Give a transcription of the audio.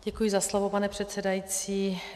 Děkuji za slovo, pane předsedající.